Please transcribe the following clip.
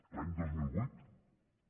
l’any dos mil vuit també